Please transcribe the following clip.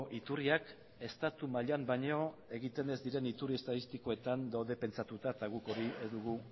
iturriak estatu mailan baino egiten ez diren iturri estatistikotan daude pentsatuta eta guk hori ez dugu